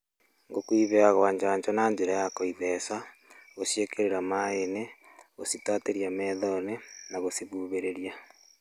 Ngũkũ iheagwo njanjo na njĩra ya gũitheca , gũciĩkĩrĩra maaĩ-inĩ, gũcitatĩria maitho-inĩ na gũcihuhĩrĩria.